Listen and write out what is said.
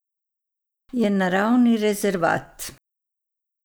Je naravni rezervat.